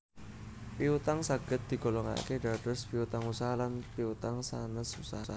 Piutang saged digolongake dados Piutang Usaha lan Piutang sanes Usaha